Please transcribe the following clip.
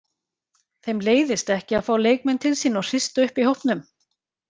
Þeim leiðist ekki að fá leikmenn til sín og hrista upp í hópnum.